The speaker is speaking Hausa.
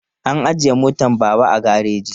An ajiye motar Baba a gareji.